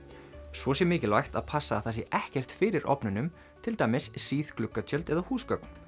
svo sé mikilvægt að passa að það sé ekkert fyrir ofnunum til dæmis síð gluggatjöld eða húsgögn